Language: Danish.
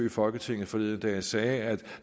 i folketinget forleden dag sagde at